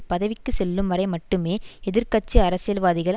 பதவிக்கு செல்லும் வரை மட்டுமே எதிர் கட்சி அரசியல்வாதிகள்